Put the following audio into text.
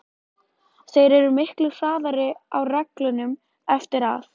Þeir eru miklu harðari á reglunum eftir að